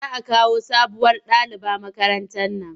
Za a kawo sabuwar daliba makarantar nan.